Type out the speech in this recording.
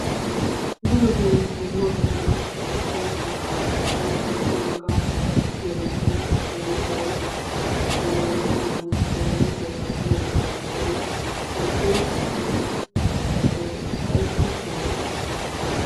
Darotoo duma dumma carkko naqaashshati carkkuwaa naqaashsha gatiyaageeti leemissuwawu telegiraammiya peessibuukkiyaa giyoogaaddoy worddobaa gattoosona. ayssi hanniyoonaa?